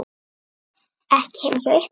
Ekki heima hjá ykkur.